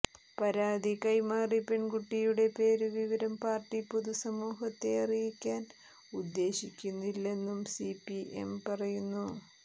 പരാതി കൈമാറി പെൺകുട്ടിയുടെ പേരുവിവരം പാർട്ടി പൊതുസമൂഹത്തെ അറിയിക്കാൻ ഉദ്ദേശിക്കുന്നില്ലെന്നും സിപിഎം പറയുന്നു